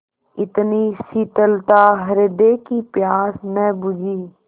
इतनी शीतलता हृदय की प्यास न बुझी